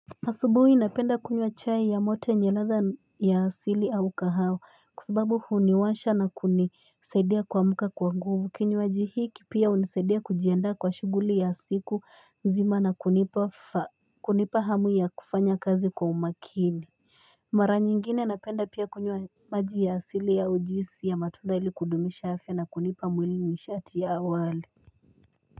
Asubuhi napenda kunywa chai ya moto yenye ladha ya asili au kahao kusubabu huniwasha na kunisaidia kwa muka kwa nguvu kini wajihiki pia unisaidia kujianda kwa shuguli ya siku zima na kunipa hamu ya kufanya kazi kwa umakini Mara nyingine napenda pia kunywa maji ya asili au ujisi ya matuda ili kudumisha hafe na kunipa mwili mishati ya awali.